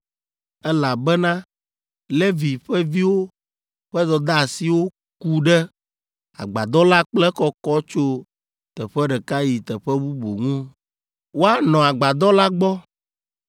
elabena Levi ƒe viwo ƒe dɔdeasiwo ku ɖe Agbadɔ la kple ekɔkɔ tso teƒe ɖeka yi teƒe bubu ŋu. Woanɔ Agbadɔ la gbɔ,